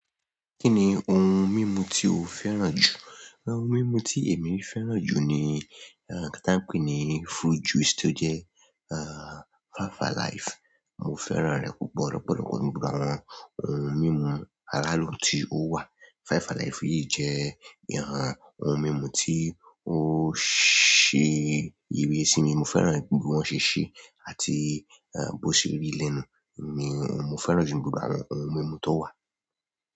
Kí ni ohun mímu tí o fẹ́ràn jù? Ohun mímu tí èmi fẹ́ràn jù ni ǹkan tí wọ́n pè ni fruit juice tó jẹ́ ìyẹn 5alive mo fẹ́ràn rẹ̀ púpọ̀ gan jù àwọn ohun mímu alo tí ó wà Five Alive yìí jẹ́ ìhàn ohun mímu tí ó ṣe ìrísí ni mo fẹ́ràn bí wọ́n ṣe ṣe àti, eh, bó ṣe rí lẹ́nu ni mo fẹ́ràn jù nínú gbogbo àwọn ohun mímu tó wà.